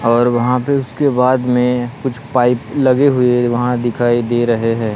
और वहां पे उसके बाद में कुछ पाइप लगे हुए वहां दिखाई दे रहे हैं।